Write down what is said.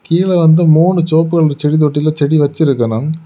கீழ வந்து மூணு செவப்பு கலர் செடி தொட்டில செடி வச்சிருக்கணும்.